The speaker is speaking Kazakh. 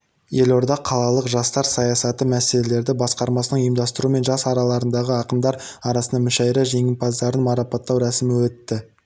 елордада қалалық жастар саясаты мәселелері басқармасының ұйымдастыруымен жас аралығындағы ақындар арасында мүшәйра жеңімпаздарын марапттау рәсімі өтті